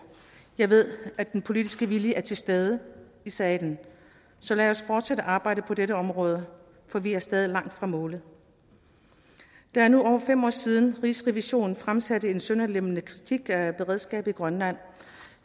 jeg ved at den politiske vilje er til stede i salen så lad os fortsætte arbejdet på dette område for vi er stadig langt fra målet det er nu over fem år siden at rigsrevisionen fremsatte en sønderlemmende kritik af beredskabet i grønland